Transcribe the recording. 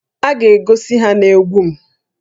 A ga-egosi ha na egwu m